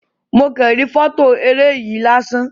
Mo kan ri fọto eré yen lásán.